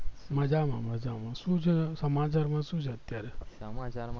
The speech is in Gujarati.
મજામાં મજામાં શુ છે સમાચાર માં શું છે અત્યારે